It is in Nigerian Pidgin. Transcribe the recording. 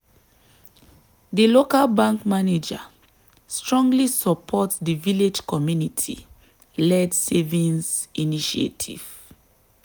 di local bank manager strongly support di village community-led savings initiative.